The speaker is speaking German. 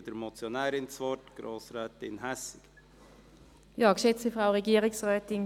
Ich gebe der Motionärin, Grossrätin Hässig, das Wort.